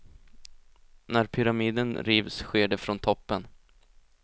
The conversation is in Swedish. När pyramiden rivs sker det från toppen.